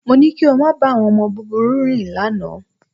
Mo ní kí o máa bá àwọn ọmọ búburú rìn lánàá